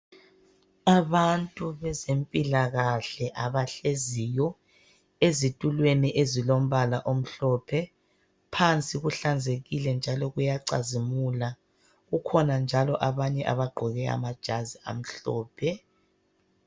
Abantu bezempilakahle abahleziyo ezitulweni ezilombala omhlophe . Phansi kuhlanzekile njalo kuyacazimula . Kukhona njalo abanye abagqoke amajazi amhlophe.